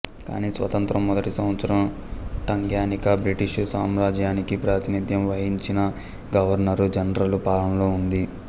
కానీ స్వాతంత్ర్య మొదటి సంవత్సరం టంగ్యానికా బ్రిటీషు సాంరాజ్యానికి ప్రాతినిధ్యం వహించిన గవర్నరు జనరలు పాలనలో ఉంది